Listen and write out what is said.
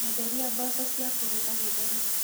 Nyenderia Mboco cia kũruga gĩtheri.